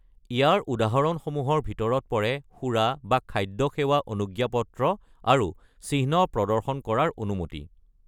ইয়াৰ উদাহৰণসমুহৰ ভিতৰত পৰে সুৰা বা খাদ্য সেৱা অনুজ্ঞাপত্ৰ আৰু চিহ্ন প্ৰদৰ্শন কৰাৰ অনুমতি।